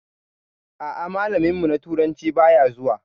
A'a, malamin mu na turanci baya zuwa.